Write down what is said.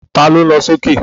Ta ló ń lọ sókè?